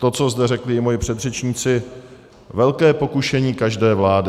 To, co zde řekli i moji předřečníci, velké pokušení každé vlády.